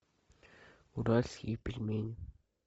уральские пельмени